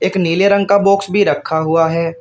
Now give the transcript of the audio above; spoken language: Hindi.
एक नीले रंग का बॉक्स भी रखा हुआ है।